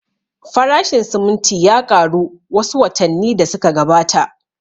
Farashin siminti ya ƙaru wa su watanni da su ka gabata